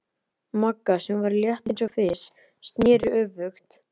Magga, sem var létt eins og fis, sneri öfugt.